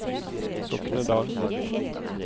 Soknedal